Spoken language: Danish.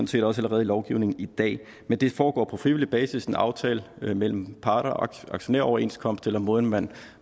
set også allerede i lovgivningen i dag men det foregår på frivillig basis som en aftale mellem parter aktionæroverenskomst eller måden man